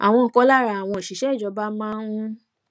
àwọn kan lára àwọn òṣìṣé ìjọba máa ń